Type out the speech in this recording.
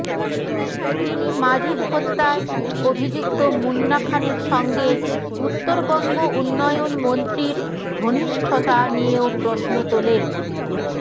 তিনি মাজিদ হত্যায় অভিযুক্ত মুন্না খানের সঙ্গে উত্তরবঙ্গ উন্নয়ন মন্ত্রীর ঘনিষ্ঠতা নিয়েও প্রশ্ন তোলেন